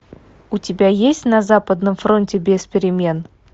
у тебя есть на западном фронте без перемен